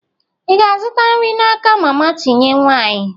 Ị ga-azụta nri n'aka mama tinye nwanyị?